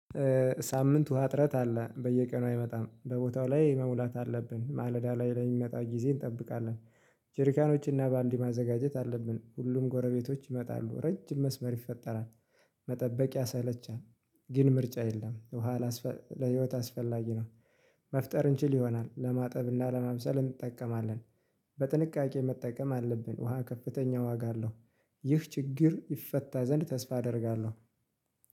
ሳምንቱ ወሃ እጥረት አለ በየቀኑ አይመጣም በቦታው ላይ መሙላት አለብን ማለዳ ላይ ለሚመጣው ጊዜ እንጠብቃለን። ጆርካኖችንና በአንድ ማዘጋጀት አለብን ሁሉም ጎረቤቶች ይመጣሉ ረጅም መስመር ይፈጠራል። መጠበቅ ያሰለቻል። ግን ምርጫ የለም በኋላ ለህይወት አስፈላጊ ነው። መፍጠር እንችል ይሆናል ለማጠብና ለመምሰል እንጠቀማለን። በጥንቃቄ መጠቀም አለብን ውሃ ከፍተኛ ዋጋ አለው። ይህ ችግር ይፈታ ዘንድ ተስፋ አደርጋለሁ